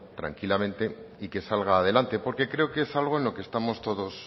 tranquilamente y que salga adelante porque creo que es algo en lo que estamos todos